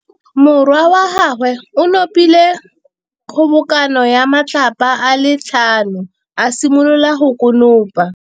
Morwa wa gagwe o nopile kgobokanô ya matlapa a le tlhano, a simolola go konopa.